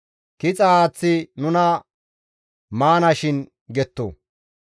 Kixa haaththi nuna maanashin» getto.